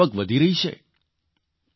ખેડૂતોની આવક વધી રહી છે